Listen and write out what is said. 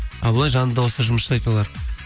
а былай жанды дауыста жұмыс жасайды олар